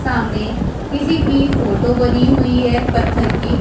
सामने किसी की फोटो बनी हुई है पत्थर की।